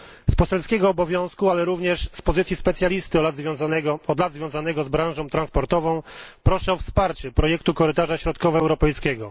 Z poselskiego obowiązku, ale również z pozycji specjalisty od lat związanego z branżą transportową, proszę o wsparcie projektu Korytarza Środkowoeuropejskiego.